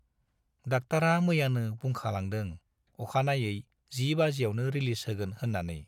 डाक्टारा मैयानो बुंखालांदों अखानायै जि बाजियावनो रिलिज होगोन होन्नानै।